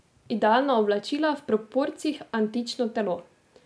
Idealna oblačila, v proporcih antično telo.